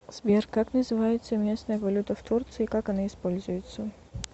сбер как называется местная валюта в турции как она используется